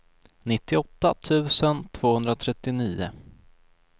nittioåtta tusen tvåhundratrettionio